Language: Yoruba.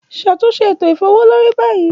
Ṣatunṣe eto ifowoleri bayi